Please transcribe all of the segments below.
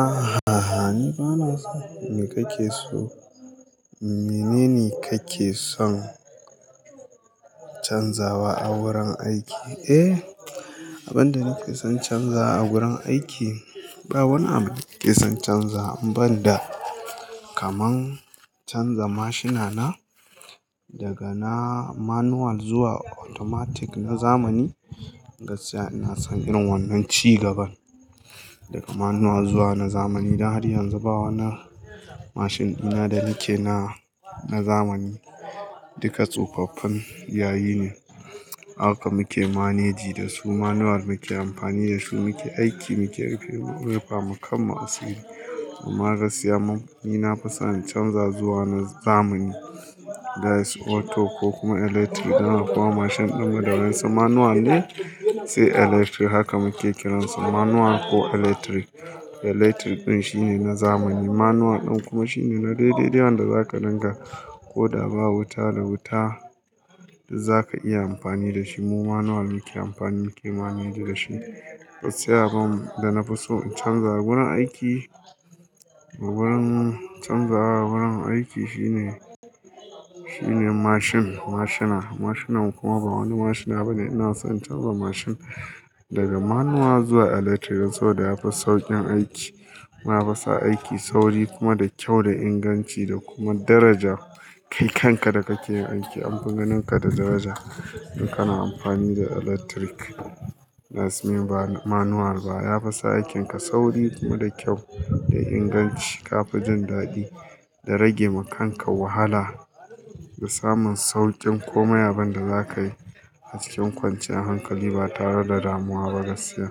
Aha, ni bana son, me kake so, mene ne kake son canzawa a wurin aiki? Eh, abin da nake son canzawa a wurin aiki, ba wani abu nake son canzawa banda kaman canza mashinana daga na manual zuwa automatic na zamani. Gaskiya ina son irin wannan ci gaban daga manual zuwa na zamani. Dan har yanzu ba wa na mashin ɗina da nake na, na zamani. Duka tsofaffin yayi ne, haka muke manage da su, manual muke amfani da su, muke aiki, muke rufe, rufe mukan ma asiri. Amma gaskiya, mu ni na fi son in canza zuwa na zamani. That's auto ko kuma electric. Dan haka kuma mashin ɗinmu da wansa manual ne, sai electric. Haka muke kiransa manual ko electric. Electric ɗin shine na zamani. Aha, ni bana son, me kake so, mene ne kake son canzawa a wurin aiki? Gaskiya abin da na fi so in canza a wurin aiki, wurin canzawa wurin aiki shine, shine mashin, mashina. Mashinan kuma ba wani mashina bane. Ina son canza mashin daga manual zuwa electric. Saboda ya fi sauƙin aiki. Na fi sa aiki sauri kuma da kyau, da inganci da kuma daraja. Kai kanka da kake yin aiki anfi ganinka da daraja idan kana amfani da electric. That's mean ba manual ba. Ya fi sa aikinka sauri kuma da kyau, da inganci. Ka fi jin daɗi da rage wa kanka wahala da samun sauƙin komai abin da zakayi a cikin kwanciyar hankali ba tare da damuwa ba. Gaskiya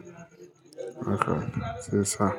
haka sai sa.